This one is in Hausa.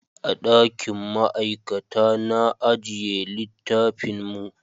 A dakin ma'aikata na ajiye littafin mu